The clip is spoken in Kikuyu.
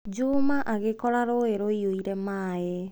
Juma agĩkora rũũĩ rũiyũire maĩ.